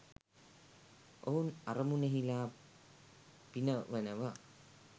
ඔවුන් අරමුණෙහි ලා පිනවනවා.